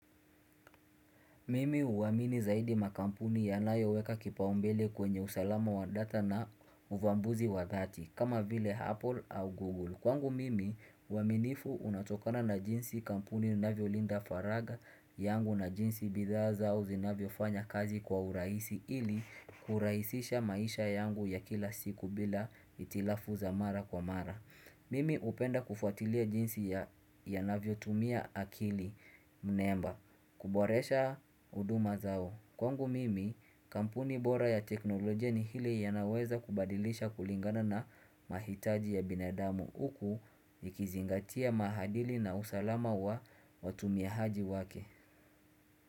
Mimi huwamini zaidi makampuni ya nayo weka kipaumbele kwenye usalama wa data na uvambuzi wa dhati kama vile Apple au Google. Kwangu mimi uwaminifu unatokana na jinsi kampuni inavyo Linda faraga yangu na jinsi bidhaa au zinavyo fanya kazi kwa uraisi ili kuraisisha maisha yangu ya kila siku bila itilafu za mara kwa mara. Mimi upenda kufuatilia jinsi ya navyo tumia akili mneemba. Kuboresha huduma zao Kwangu mimi kampuni bora ya teknolojia ni hili ya naweza kubadilisha kulingana na mahitaji ya binadamu uku Ikizingatia mahadili na usalama wa watumihaji wake.